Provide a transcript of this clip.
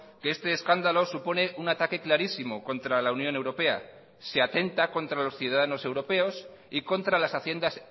que este escándalo supone un ataque clarísimo contra la unión europea se atenta contra los ciudadanos europeos y contra las haciendas